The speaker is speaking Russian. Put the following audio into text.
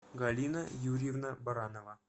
галина юрьевна баранова